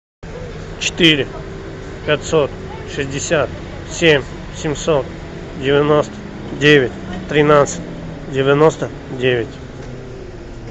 четыре пятьсот шестьдесят семь семьсот девяносто девять тринадцать девяносто девять